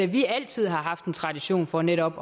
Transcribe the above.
vi altid har haft en tradition for netop